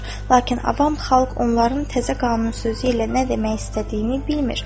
Lakin avam xalq onların təzə qanun sözü ilə nə demək istədiyini bilmir.